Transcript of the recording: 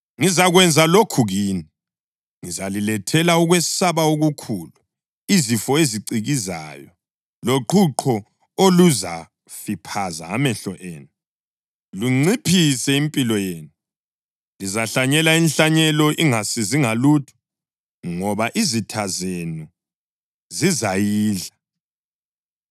ngizakwenza lokhu kini: Ngizalilethela ukwesaba okukhulu, izifo ezicikizayo, loqhuqho oluzafiphaza amehlo enu, lunciphise impilo yenu. Lizahlanyela inhlanyelo ingasizi ngalutho, ngoba izitha zenu zizayidla.